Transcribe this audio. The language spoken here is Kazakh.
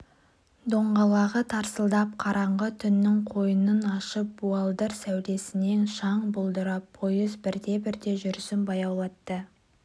доңғалағы тарсылдап қараңғы түннің қойнын ашып буалдыр сәулесінен шаң бұлдырап пойыз бірте-бірте жүрісін баяулатты